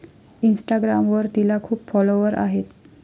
इन्स्टाग्रामवर तिला खूप फॉलोअर आहेत.